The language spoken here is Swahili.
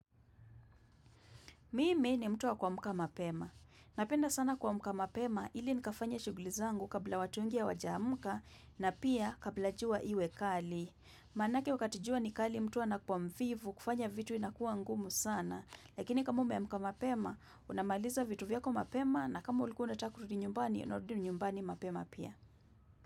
Mimi ni mtu wa kuamka mapema. Napenda sana kuamka mapema ili nikafanye shuguli zangu kabla watu wengi hawajaamka na pia kabla jua iwe kali. Maanake wakati jua ni kali mtu anakuwa mvivu kufanya vitu inakuwa ngumu sana. Lakini kama umeamka mapema unamaliza vitu vyako mapema na kama ulikuwa unataka kurundi nyumbani unarundi nyumbani mapema pia.